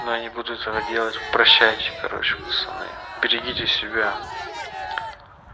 но я не буду этого делать прощайте короче пацаны берегите себя